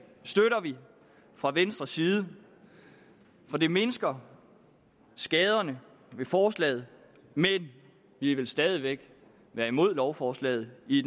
fra venstres side for det mindsker skaderne ved forslaget men vi vil stadig væk være imod lovforslaget i